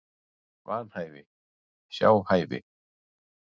Vanhæfi, sjá hæfi